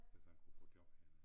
Hvis han kunne få job hernede